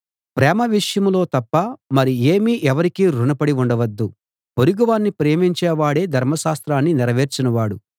ప్రేమ విషయంలో తప్ప మరి ఏమీ ఎవరికీ రుణ పడి ఉండవద్దు పొరుగువాణ్ణి ప్రేమించేవాడే ధర్మశాస్త్రాన్ని నెరవేర్చిన వాడు